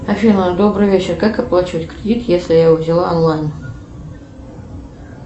афина добрый вечер как оплачивать кредит если я его взяла онлайн